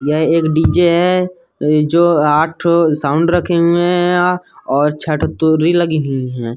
यह एक डीजे है। इ जो आठ ठो साउंड रखे हुए है यहाँ और छः ठो तुरी लगी हुई हैं।